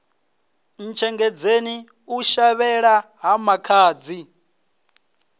ntshengedzeni u shavhela ha makhadzi